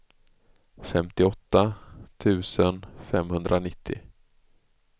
femtioåtta tusen femhundranittio